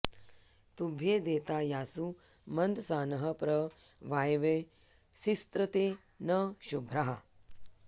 तुभ्येदे॒ता यासु॑ मन्दसा॒नः प्र वा॒यवे॑ सिस्रते॒ न शु॒भ्राः